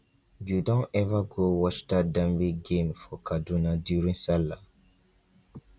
you don ever go watch dat dembe game for kaduna during sallah